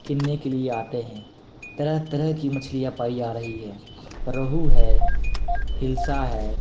के लिए आते हैं तरह-तरह की मछलियां पाई जा रही है रहू है हिलसा है--